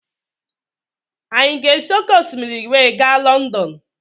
Anyi a ga-esi òkè osimiri wee ga Lọndọn.